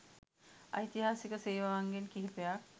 ඓතිහාසික සේවාවන්ගෙන් කිහිපයක්